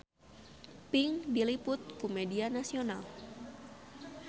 Pink diliput ku media nasional